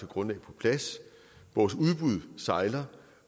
grundlag på plads vores udbud sejler